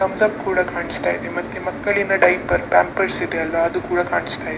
Thumbs up ಕೂಡ ಕಾಣಿಸ್ತಾ ಇದೆ ಮತ್ತೆ ಮಕ್ಕಳಿನ ಡೈಪರ್ಸ್ ಪಾಂಪೆರ್ಸ್ ಇದೆಯಲ್ಲ ಅದು ಕೂಡ ಕಾಣಿಸ್ತಾ ಇದೆ.